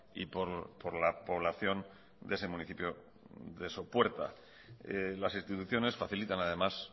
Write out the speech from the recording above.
y por la población de ese municipio de sopuerta las instituciones facilitan además